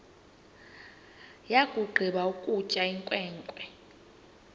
yakugqiba ukutya inkwenkwe